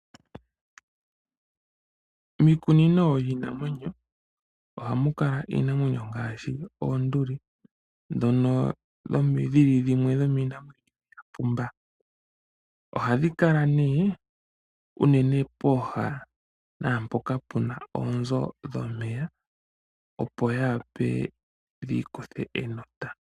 Miikunino yiinamwenyo ohamu kala iinamwenyo ngaashi oonduli, ndhono dhi li dhimwe yomiinamwenyo mbyoka ya pumba. Ohadhi kala nee unene pooha naampoka pu na oonzo dhomeya, opo dhi vule dhi ikuthe enota.